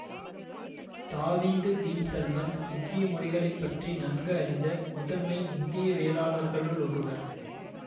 தாவீது Dean Shulman இந்திய மொழிகளை பற்றி நன்கு அறிந்த முதன்மை இந்தியவியலாளர்களுள் ஒருவர்